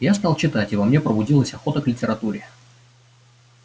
я стал читать и во мне пробудилась охота к литературе